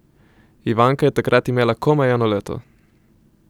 Ivanka je takrat imela komaj eno leto!